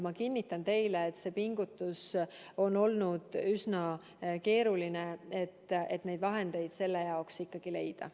Ma kinnitan teile, et see pingutus on olnud üsna keeruline, et neid vahendeid selle jaoks leida.